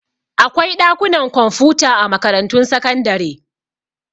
Akwai ɗakunan kwamfuta a makarantun sakandare.